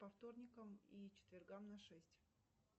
по вторникам и четвергам на шесть